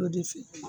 O de f